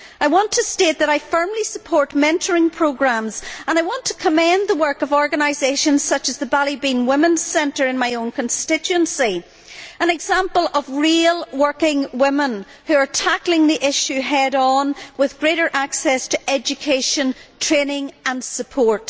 I want to state that I firmly support mentoring programmes and I want to commend the work of organisations such as the Ballybeen Women's Centre in my own constituency an example of real working women who are tackling the issue head on, with greater access to education, training and support.